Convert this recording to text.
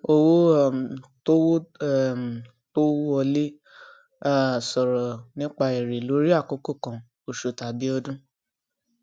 owó um tó owó um tó wọlé um sọrọ nípa èrè lórí àkókò kan oṣù tàbí ọdún